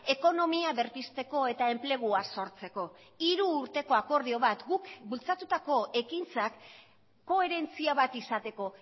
ekonomia berpizteko eta enplegua sortzeko hiru urteko akordio bat guk bultzatutako ekintzak koherentzia bat izateko